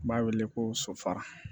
N b'a wele ko sofara